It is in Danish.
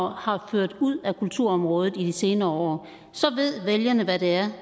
har ført ud af kulturområdet i de senere år så ved vælgerne hvad det er